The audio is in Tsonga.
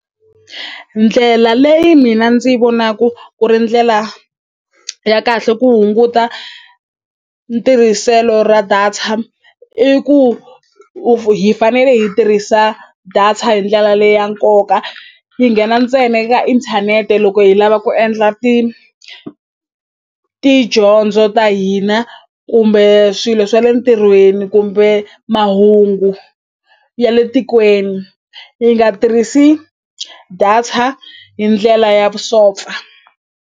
Ndlela leyi mina ndzi yi vonaku ku ri ndlela ya kahle ku hunguta ntirhiselo ra data i ku hi fanele hi tirhisa data hi ndlela leyi ya nkoka yi nghena ntsena eka inthanete loko hi lava ku endla tidyondzo ta hina kumbe swilo swa le ntirhweni kumbe mahungu ya le tikweni hi nga tirhisi data hi ndlela ya vusopfa.